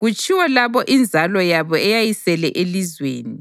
kutshiwo labo inzalo yabo eyayisele elizweni,